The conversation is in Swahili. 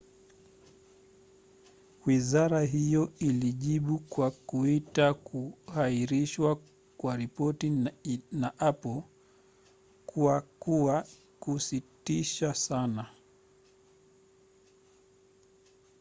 wizara hiyo ilijibu kwa kuita kuhairishwa kwa ripoti na apple kuwa kwa kusikitisha sana.